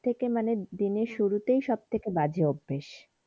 থেকে মানে দিনের শুরুতেই সব থেকে বাজে অভ্যেস।